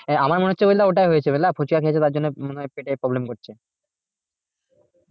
আহ আমার মনে হচ্ছে বুঝলা ওটাই হয়েছে বুঝলা ফুচকা খেয়েছে তার জন্য মনে হয় পেটের problem করছে